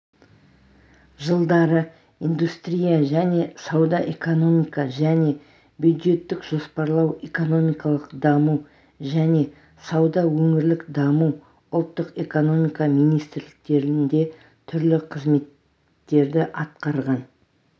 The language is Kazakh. жылдары индустрия және сауда экономика және бюджеттік жоспарлау экономикалық даму және сауда өңірлік даму ұлттық экономика министрліктерінде түрлі қызметтерді атқарған